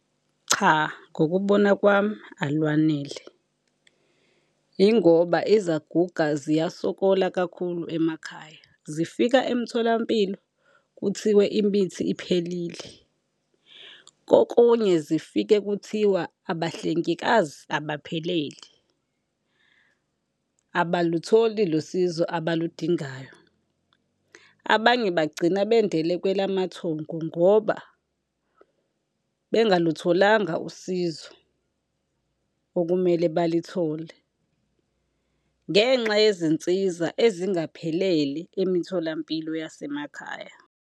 Cha, ngokubona kwami alwanele. Yingoba izaguga ziyasokola kakhulu emakhaya, zifika emtholampilo kuthiwe imithi iphelile. Kokunye zifike kuthiwa abahlengikazi abaphelele, abalutholi lolu sizo abaludingayo. Abanye bagcina bendele kwelamathongo ngoba bengalutholanga usizo okumele balithole ngenxa yezinsiza ezingaphelele emitholampilo yasemakhaya.